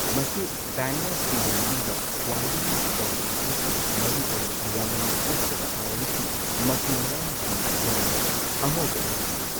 ꯃꯁꯤ ꯁ꯭ꯄꯦꯅꯤꯑꯦꯜꯁꯤꯡꯒꯤ ꯃꯅꯨꯡꯗ ꯈ꯭ꯋꯥꯏꯗꯒꯤ ꯆꯥꯎꯕꯅꯤ ꯑꯃꯁꯨꯡ ꯃꯔꯨꯑꯣꯏꯅ ꯂꯦꯃꯟ ꯅꯠꯇ꯭ꯔꯒ ꯑꯣꯔꯦꯟꯖꯀꯤ ꯃꯆꯨ ꯃꯔꯥꯡꯁꯤꯡ ꯌꯥꯎꯕ ꯑꯉꯧꯕ ꯑꯣꯏꯅ ꯂꯥꯛꯏ꯫